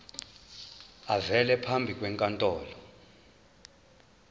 avele phambi kwenkantolo